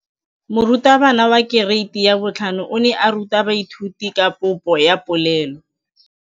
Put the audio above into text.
Moratabana wa kereiti ya 5 o ne a ruta baithuti ka popô ya polelô.